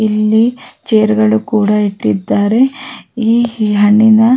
ಇಲ್ಲಿ ಚೇರ್ಗ ಳು ಕೂಡ ಇಟ್ಟಿದ್ದಾರೆ ಈ ಹಣ್ಣಿನ-